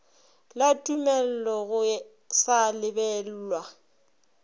la tumello go sa lebellwe